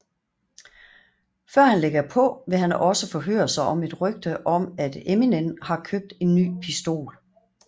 Før han lægger på vil han også forhøre sig om et rygte om at Eminem har købt en ny pistol